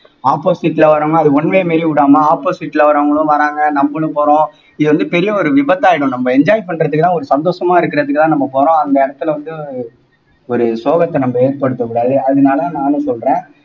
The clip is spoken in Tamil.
opposite ல வர்றவங்க அது one way மாறி விடாம opposite ல வர்றவங்களும் வர்றாங்க நம்மளும் போறோம் இது வந்து பெரிய ஒரு விபத்தாயிடும் நம்ம enjoy பண்றதுக்கெல்லாம் ஒரு சந்தோஷமா இருக்கிறதுக்குத்தான் நம்ம போறோம் அந்த இடத்துல வந்து ஒரு சோகத்தை நம்ம ஏற்படுத்தக் கூடாது அதனால நானும் சொல்றேன்